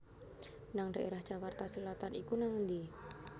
nang daerah Jakarta Selatan iku nang endi?